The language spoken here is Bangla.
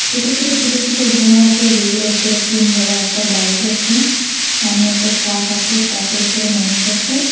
ছোট ছোট ছোট ছোট ঘর আসে যেইগুলো ওপরে টিন দেওয়া একটা বাইক আসে সামনে একটা ট্রাক আসে ট্রাক -এর উপরে মানুষ আসে।